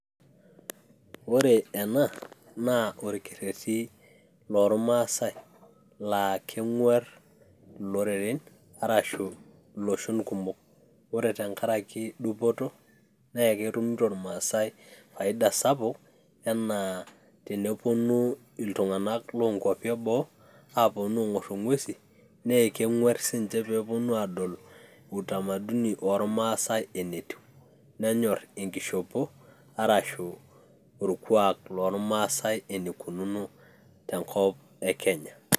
ore ena naa orkereti loo maasai laakeng'uar iloreren, arashu iloshon kumok ore tengaraki dupoto, naa ketumuto irmaasai faida sapuk enaa tenepounu iltunganak loo kwapi eboo epuonu aingpr igwesin naa kenguar sininye pee epuonu aadol utamaduni oo irmaasai enetiu, nenyor engishopo arashu orkuak loo irmaasai enikununo tenkop ekenya.